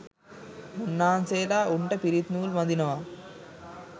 මුන්නාන්සේලා උන්ට පිරිත් නූල් බඳිනවා